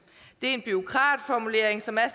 det er en bureaukratformulering som er